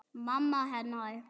Mamma hennar.